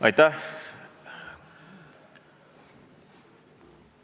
Aitäh!